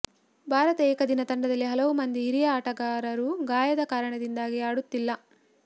ಭಾರತ ಏಕದಿನ ತಂಡದಲ್ಲಿ ಹಲವು ಮಂದಿ ಹಿರಿಯ ಆಟಗಾರರು ಗಾಯದ ಕಾರಣದಿಂದಾಗಿ ಆಡುತ್ತಿಲ್ಲ